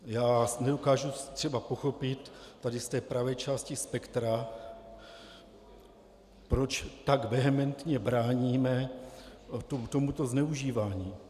Já nedokážu třeba pochopit tady z té pravé části spektra, proč tak vehementně bráníme tomuto zneužívání.